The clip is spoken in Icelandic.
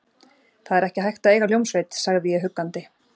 Það er ekki hægt að eiga hljómsveit, sagði ég huggandi.